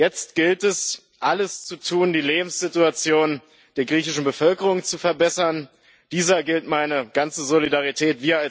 Jetzt gilt, es alles zu tun, die Lebenssituation der griechischen Bevölkerung zu verbessern, dieser gilt meine ganze Solidarität.